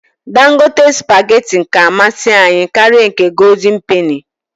Dangote spageti ka amasị anyị karịa nke goldịn peni